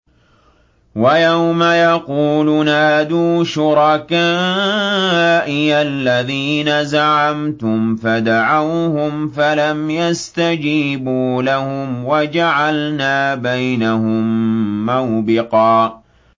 وَيَوْمَ يَقُولُ نَادُوا شُرَكَائِيَ الَّذِينَ زَعَمْتُمْ فَدَعَوْهُمْ فَلَمْ يَسْتَجِيبُوا لَهُمْ وَجَعَلْنَا بَيْنَهُم مَّوْبِقًا